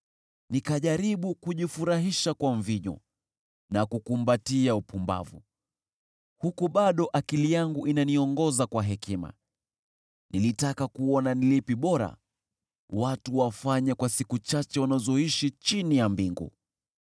Nikajaribu kujifurahisha kwa mvinyo na kukumbatia upumbavu, huku bado akili yangu inaniongoza kwa hekima. Nilitaka kuona ni lipi bora watu wafanye kwa siku chache wanazoishi chini ya mbingu.